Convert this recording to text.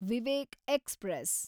Vivek express